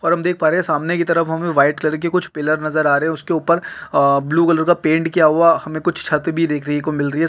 और हम देख पा रहे हैं सामने कि तरफ हमें व्हाइट कलर के कुछ पिलर नजर आ रहे हैं उसके ऊपर अ ब्लू कलर का पैंट भी किया हुआ है हमें कुछ छत भी देखने को मिलरही --